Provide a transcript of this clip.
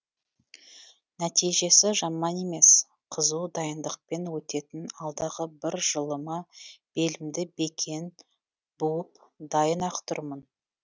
нәтижесі жаман емес қызу дайындықпен өтетін алдағы бір жылыма белімді бекен буып дайын ақ тұрмын